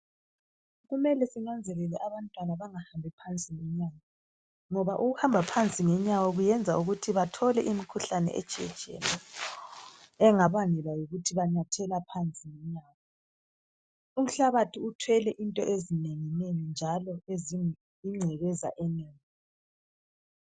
Kumele sinanzelele abantwana bengahambi phansi ngenyawo, ngoba ukuhamba phansi ngenyawo kuyenza ukuthi bethole imikhuhlane etshiye tshiyeneyo engabangelwa yikuthi banyathela phansi ngenyawo, umhlabathi uthwele into ezinengi nengi njalo ezi ngcekeza enengi.